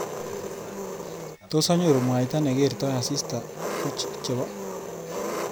Tos anyoru mwaita nekertoi asista koch chebo?